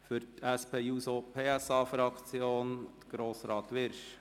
Für die SP-JUSO-PSA-Fraktion spricht Grossrat Wyrsch.